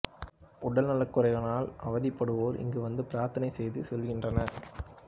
உடல்நலக் குறைவினால் அவதிப்படுவோர் இங்கு வந்து பிரார்த்தனை செய்து செல்கின்றனர்